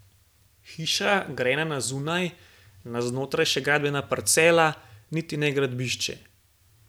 Hiša, grajena na zunaj, na znotraj še gradbena parcela, niti ne gradbišče.